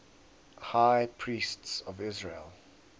high priests of israel